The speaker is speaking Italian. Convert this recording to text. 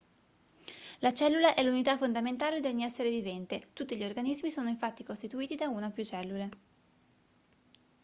la cellula è l'unità fondamentale di ogni essere vivente tutti gli organismi sono infatti costituiti da una o più cellule